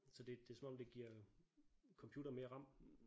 Så det det som om det giver computeren mere RAM